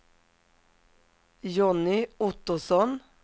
Jonny Ottosson